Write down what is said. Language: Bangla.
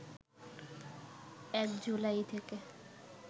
১ জুলাই থেকে